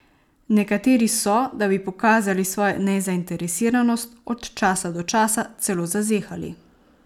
Nekateri so, da bi pokazali svojo nezainteresiranost, od časa do časa celo zazehali.